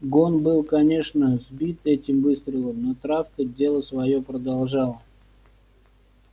гон был конечно сбит этим выстрелом но травка дело своё продолжала